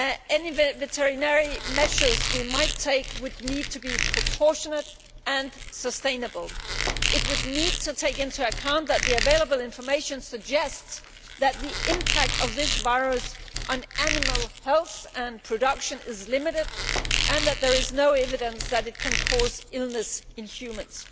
Any veterinary measure we might take would need to be proportionate and sustainable. It would need to take into account that the available information suggests that the impact of this virus on animal health and production is limited, and that there is no evidence that it can cause illness in humans.